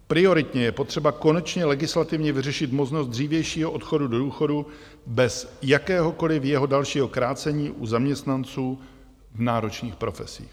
Prioritně je potřeba konečně legislativně vyřešit možnost dřívějšího odchodu do důchodu bez jakéhokoliv jeho dalšího krácení u zaměstnanců v náročných profesích.